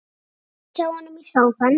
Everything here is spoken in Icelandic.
Sest hjá honum í sófann.